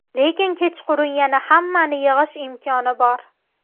Lekin kechqurun yana hammani yig‘ish imkoni bor.